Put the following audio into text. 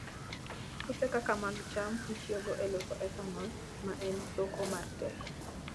Puothe kaka mag cham itiyogo e loso ethanol, ma en soko mar teko.